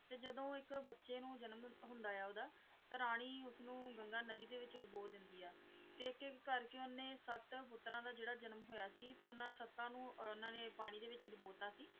ਤੇ ਜਦੋਂ ਇਕ ਬੱਚੇ ਨੂੰ ਜਨਮ ਹੁੰਦਾ ਏ ਓਹਦਾ ਤਨ ਰਾਣੀ ਉਸਨੂੰ ਗੰਗਾ ਨਦੀ ਵਿਚ ਡੁਬੋ ਦੇਂਦੀ ਏ ਤੇ ਇਕ ਇਕ ਕਰਕੇ ਓਹਦੇ ਸਤ ਪੁੱਤਰਾ ਦਾ ਜਿਹੜਾ ਜਨਮ ਹੋਇਆ ਸੀ ਤੇ ਓਹਨਾ ਸਤਾਂ ਨੂੰ ਪਾਣੀ ਵਿੱਚ ਡੁਬੋ ਤਾ ਸੀ